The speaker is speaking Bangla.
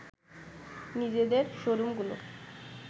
নিজেদের শোরুমগুলো